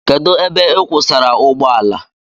Kedụ ebe ị kwụsara ụgbọala?